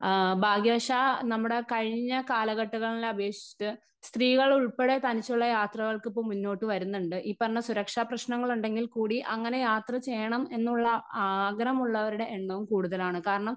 Speaker 1 ആ ഭാഗ്യവശാൽ നമ്മുടെ കഴിഞ്ഞ കാലഘട്ടകങ്ങളിലെ അപേഷിച്ചിട്ട് സ്ത്രീകളുൾപ്പെടെ തനിച്ചുള്ള യാത്രകൾക്ക് ഇപ്പൊ മുന്നോട്ടു വരുന്നുണ്ട് ഈ പറഞ്ഞ സുരക്ഷാ പ്രേശ്നങ്ങൾ ഉണ്ടെകിൽ കൂടി അങ്ങനെ യാത്ര ചെയ്യണം എന്നുള്ള ആഗ്രഹമുള്ളവരുടെ എണ്ണവും കൂടുതലാണ് കാരണം.